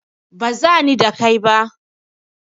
Baza ni da kai ba.